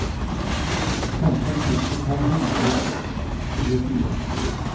femti tusen fem hundre og tjuefire